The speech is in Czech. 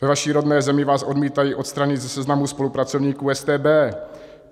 Ve vaší rodné zemi vás odmítají odstranit ze seznamu spolupracovníků StB.